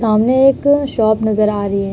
सामने एक शॉप नजर आ रही है।